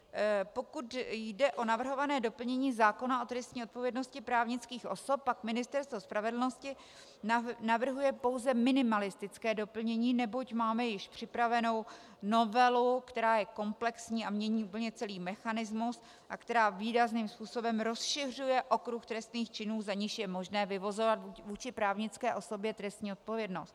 Pokud jde o navrhované doplnění zákona o trestní odpovědnosti právnických osob, pak Ministerstvo spravedlnosti navrhuje pouze minimalistické doplnění, neboť máme již připravenou novelu, která je komplexní a mění úplně celý mechanismus a která výrazným způsobem rozšiřuje okruh trestných činů, z nichž je možné vyvozovat vůči právnické osobě trestní odpovědnost.